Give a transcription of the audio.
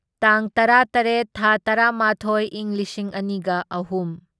ꯇꯥꯡ ꯇꯔꯥꯇꯔꯦꯠ ꯊꯥ ꯇꯔꯥꯃꯥꯊꯣꯢ ꯢꯪ ꯂꯤꯁꯤꯡ ꯑꯅꯤꯒ ꯑꯍꯨꯝ